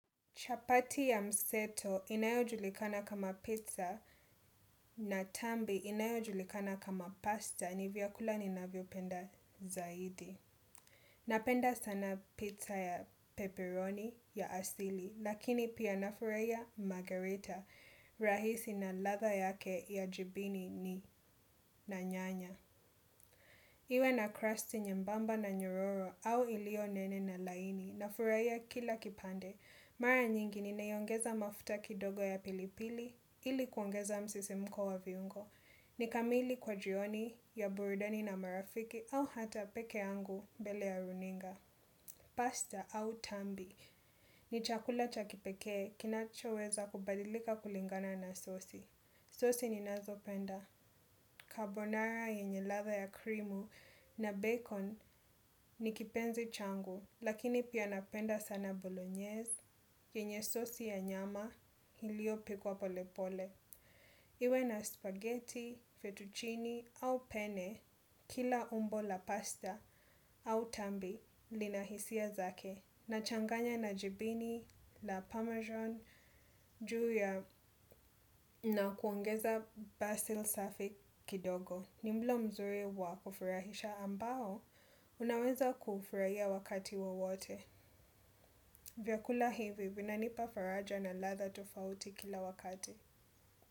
Chapati ya mseto inyojulikana kama pizza na tambi inayojulikana kama pasta ni vyakula ninayopenda. Zaidi napenda sana pizza ya peperoni ya asili lakini poa nafurahia. Iwe na crusti nyembamba na nyororo au iliyo nene na laini nafurahia kila kipande. Mara nyingi ninaiongeza mafuta kidogo ya pilipili ili kuongeza msisimko wa viungo. Ni kamili kwa jioni ya burudani na marafiki au hata peke yangu mbele ya runinga. Pasta au tambi. Ni chakula cha kipekee kinacho weza kubadilika kulingana na sosi. Sosi ninazo penda. Kabonara yenye ladha ya krimu na bacon ni kipenzi changu. Lakini pia napenda sana bolognese, yenye sosi ya nyama, iliyo pikwa polepole. Iwe na spaghetti, fettuccini, au pene, kila umbo la pasta, au tambi, lina hisia zake. Nachanganya na jibini ya ni mlo mzuri wa kufurahisha ambao unaweza kufurahia wakati wowote. Vyakula hivi vinanipa faraja na ladha tofauti kila wakati.